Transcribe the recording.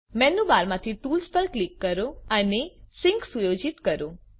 menu બારમાંથી tools પર click કરો અને સિન્ક સુયોજિત કરો